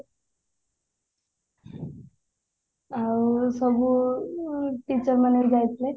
ଆଉ ସବୁ teacher ମାନେ ବି ଯାଇଥିଲେ